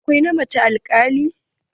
Akwai na macen alkali.